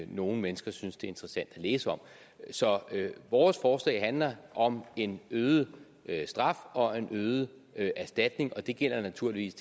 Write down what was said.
nogle mennesker synes det er interessant at læse om så vores forslag handler om en øget straf og en øget erstatning og det gælder naturligvis